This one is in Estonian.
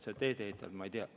Seda teedeehitajat ma ei tea.